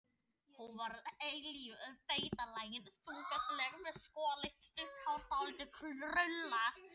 Hún var eilítið feitlagin og þyngslaleg, með skolleitt, stutt hár, dálítið krullað.